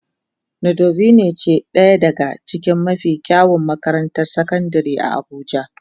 Nudivine ce daya daga cikin mafi kyawun makarantar sakandare a abuja.